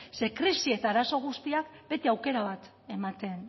ze krisi eta arazo guztia bete aukera bat ematen